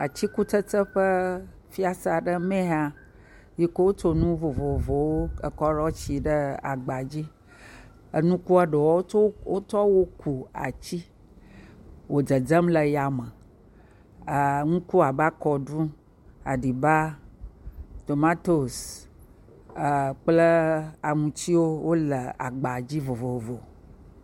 Atikutsetse ƒe fiase aɖe mee nye ya yi ke wotso nu vovovowo ekɔ ɖo asi ɖe agba dzi. Nukua ɖewo wotsɔ wo wotsɔ wo ku atsi wo dzedzem le ya me. E ŋku abe akɔɖu, aɖiba, tomatosi eee kple aŋutsiwo wole agba dzi vovovo.